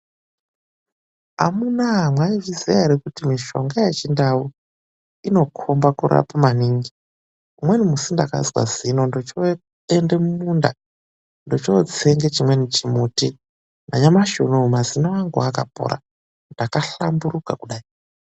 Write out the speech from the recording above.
AMUNAWE MAIZVIZIWA ERE KUTI MISHONGA YECHINDAU INOKOBA KURAPA MANINGI .RIWENI ZUWA NDAKAZWA ZINO NDOCHOENDE MUMUNDA NDOCHOTSENGA CHIWENI CHIMUTI NYAMASI UNOUNO MAZINO ANGU AKAPORA NDAKAHLAMBURUKA KUDAI.